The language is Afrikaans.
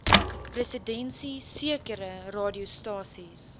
presidensie sekere radiostasies